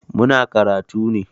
Muna karatu ne.